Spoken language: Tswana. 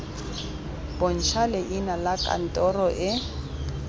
bontsha leina la kantoro e